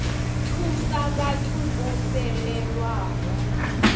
thusa vhathu vho fhelelwaho nga